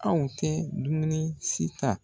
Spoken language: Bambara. Aw tɛ dumuni si ta